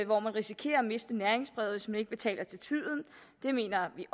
hvor man risikerer at miste næringsbrevet hvis man ikke betaler til tiden det mener vi